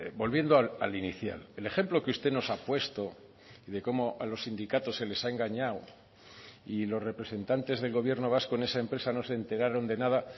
volviendo al inicial el ejemplo que usted nos ha puesto de cómo a los sindicatos se les ha engañado y los representantes del gobierno vasco en esa empresa no se enteraron de nada